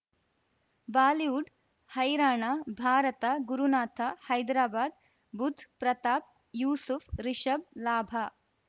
Bollywood ಹೈರಾಣ ಭಾರತ ಗುರುನಾಥ ಹೈದರಾಬಾದ್ ಬುಧ್ ಪ್ರತಾಪ್ ಯೂಸುಫ್ ರಿಷಬ್ ಲಾಭ